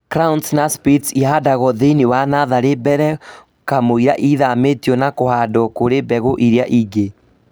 Crowns na splits ihandagwo thĩinĩ wa natharĩ mbere kamũira ithamĩtio na ihandwo kũrĩ mbegũ iria ingĩ